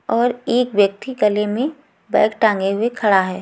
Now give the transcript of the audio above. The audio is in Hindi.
और एक व्यक्ति गले में बैग टांगे हुए खड़ा है।